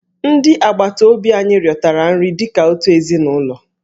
Ndị agbataobi anyị riotara nri dị ka otu ezinụlọ.